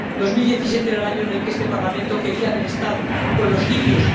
2017 era el año en el que este Parlamento quería haber estado con los libios.